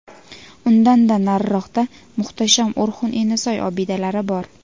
Undan-da nariroqda muhtasham O‘rxun-Enasoy obidalari bor.